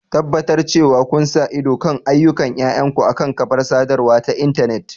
Tabbatar cewa kun sa ido kan ayyukan yayanku akan kafar sadarwa ta intanet.